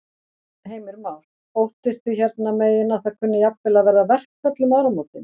Heimir Már: Óttist þið hérna megin að það kunni jafnvel að verða verkföll um áramótin?